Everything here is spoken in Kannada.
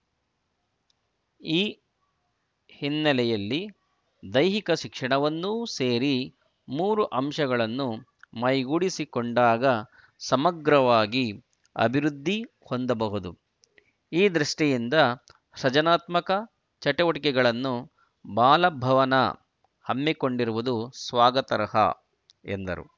ಈ ಹಿನ್ನೆಲೆಯಲ್ಲಿ ದೈಹಿಕ ಶಿಕ್ಷಣವನ್ನೂ ಸೇರಿ ಮೂರೂ ಅಂಶಗಳನ್ನು ಮೈಗೂಡಿಸಿಕೊಂಡಾಗ ಸಮಗ್ರವಾಗಿ ಅಭಿವೃದ್ಧಿ ಹೊಂದಬಹುದು ಈ ದೃಷ್ಟಿಯಿಂದ ಸೃಜನಾತ್ಮಕ ಚಟುವಟಿಕೆಗಳನ್ನು ಬಾಲಭವನ ಹಮ್ಮಿಕೊಂಡಿರುವುದು ಸ್ವಾಗತಾರ್ಹ ಎಂದರು